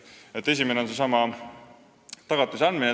Nii et esimene lahendus on seesama tagatise andmine.